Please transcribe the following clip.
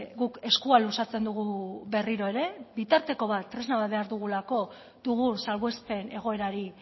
guk eskua luzatzen dugu berriro ere bitarteko bat tresna bat behar dugulako dugun salbuespen egoerari